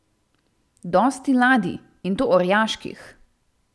Dosti ladij, in to orjaških.